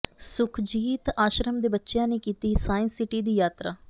ਸੁਖਜੀਤ ਆਸ਼ਰਮ ਦੇ ਬੱਚਿਆਂ ਨੇ ਕੀਤੀ ਸਾਇੰਸ ਸਿਟੀ ਦੀ ਯਾਤਰਾ